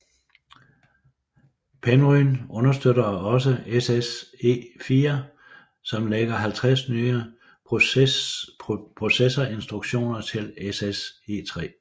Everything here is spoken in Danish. Penryn understøtter også SSE4 som lægger 50 nye processorinstruktioner til SSE3